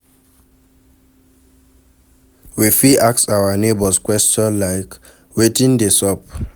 We fit ask our neigbours question like 'wetin de sup'